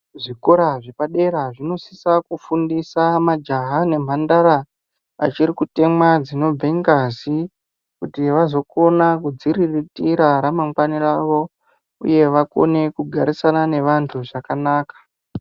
Zvikora zvepadera zvinosisa kufundisa majaha nemhandara achirikutemwa dzinobvingazi kuti vazokona kudziriritira ramangwani rawo uye vakone kugarisane navantu zvakanaka.